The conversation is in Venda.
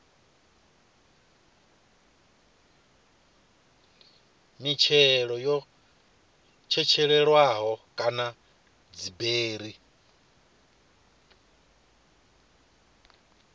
mitshelo yo tshetshelelwaho kana dziberi